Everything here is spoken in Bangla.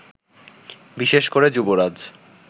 বিশেষ করে যুবরাজ